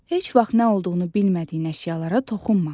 Heç vaxt nə olduğunu bilmədiyin əşyalara toxunma.